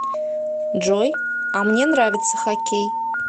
джой а мне нравится хоккей